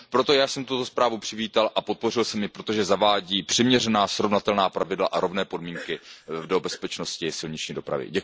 Proto jsem tuto zprávu přivítal a podpořil jsem ji, protože zavádí přiměřená, srovnatelná pravidla a rovné podmínky do bezpečnosti silniční dopravy.